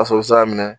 A sɔrɔ sira minɛ